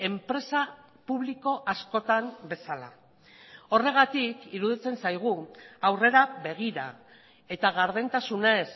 enpresa publiko askotan bezala horregatik iruditzen zaigu aurrera begira eta gardentasunez